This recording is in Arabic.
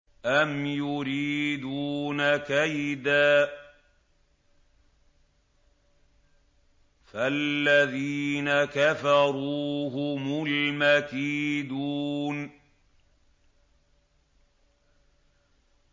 أَمْ يُرِيدُونَ كَيْدًا ۖ فَالَّذِينَ كَفَرُوا هُمُ الْمَكِيدُونَ